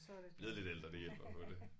Blevet lidt ældre det hjælper jo på det